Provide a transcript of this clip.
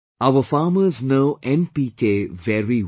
Our farmers know 'NPK' very well